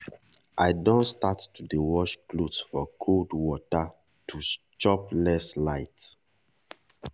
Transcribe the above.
i don start to dey wash clothes for cold water to chop less light.